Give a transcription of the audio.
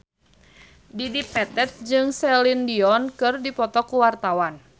Dedi Petet jeung Celine Dion keur dipoto ku wartawan